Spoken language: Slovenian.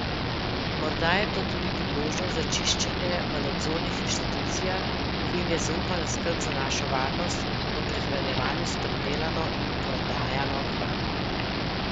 Morda je to tudi priložnost za čiščenje v nadzornih inštitucijah, ki jim je zaupana skrb za našo varnost v prehranjevanju s pridelano in prodajano hrano.